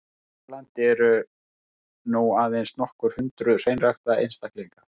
Hér á landi eru nú aðeins nokkur hundruð hreinræktaðra einstaklinga.